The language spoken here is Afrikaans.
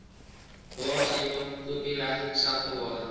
raadseiendom kopiereg sagteware